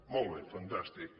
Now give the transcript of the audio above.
molt bé fantàstic